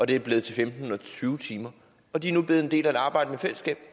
det er blevet til femten eller tyve timer og de er nu blevet en del af et arbejdende fællesskab